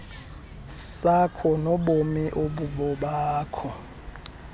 sakho nobomi obubobakho